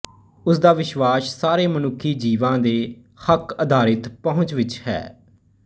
ਉਸ ਦਾ ਵਿਸ਼ਵਾਸ ਸਾਰੇ ਮਨੁੱਖੀ ਜੀਵਾਂ ਦੇ ਹੱਕਅਧਾਰਿਤ ਪਹੁੰਚ ਵਿੱਚ ਹੈ